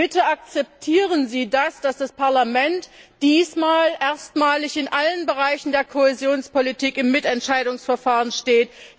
Bitte akzeptieren Sie, dass das Parlament diesmal erstmalig in allen Bereichen der Kohäsionspolitik im Mitentscheidungsverfahren steht.